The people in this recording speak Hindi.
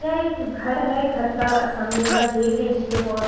यह एक घर है घर का सामने का गेट है जिसपे बहोत --